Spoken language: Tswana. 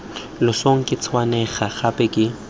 losong ke tshwenngwa gape ke